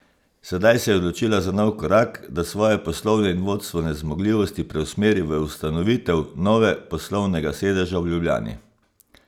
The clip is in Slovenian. Sedaj se je odločila za nov korak, da svoje poslovne in vodstvene zmogljivosti preusmeri v ustanovitev nove poslovnega sedeža v Ljubljani.